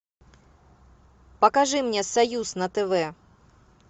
покажи мне союз на тв